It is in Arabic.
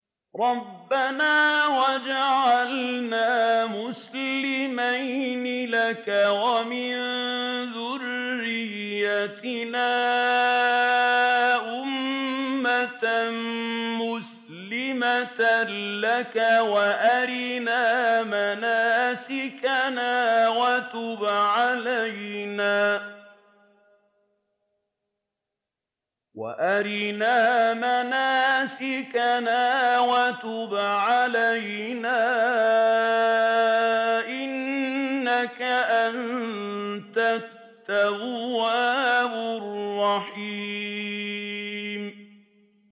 رَبَّنَا وَاجْعَلْنَا مُسْلِمَيْنِ لَكَ وَمِن ذُرِّيَّتِنَا أُمَّةً مُّسْلِمَةً لَّكَ وَأَرِنَا مَنَاسِكَنَا وَتُبْ عَلَيْنَا ۖ إِنَّكَ أَنتَ التَّوَّابُ الرَّحِيمُ